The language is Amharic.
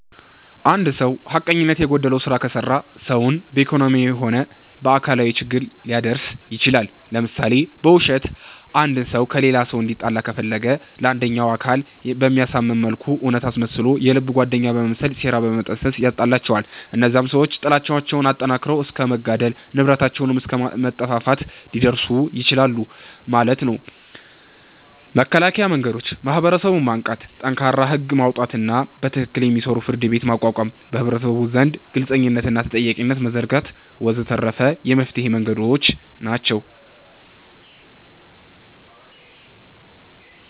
እንድ ሰዉ ሐቀኝነት የጎደለዉ ስራ ከሰራ ሰዉን በኢኮኖሚያዊም ሆነ በአካላዊ ችግር ሊያደርስ ይችላል ለምሳሌ፦ በዉሸት አንድ ሰዉ ከሌላ እንዲጣላ ከፈለገ ለአንደኛዉ አካል በሚያሳምን መልኩ እዉነት አስመስሎ የልብ ጓደኛ በመምሰል ሴራን በመጠንሰስ ያጣላቸዋል እነዚያም ሰዎች ጥላቻዉን አጠንክረዉት እስከ መገዳደል፣ ንብረታቸዉንም አስከ መጠፋፋት ሊደርሱ ይችላሉ ማለት ነዉ። መከላከያ መንገዶች፦ ማህበረሰቡን ማንቃት፣ ጠንካራ ህግ ማዉጣትና በትክክል የሚሰራ ፍርድቤት ማቋቋም፣ በህብረተሰቡ ዘንድ ግልፅነትንና ተጠያቂነትን መዘርጋት ወ.ዘ.ተ የመፍትሔ መንገዶች ናቸዉ።